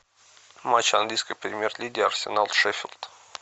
матч английской премьер лиги арсенал шеффилд